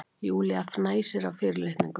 Júlía fnæsir af fyrirlitningu.